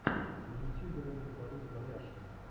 на ютьюбе ролик борис бояршинов